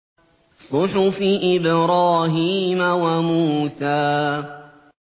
صُحُفِ إِبْرَاهِيمَ وَمُوسَىٰ